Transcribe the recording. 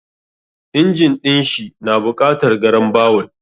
Injin ɗin shi na buƙatar garambawul.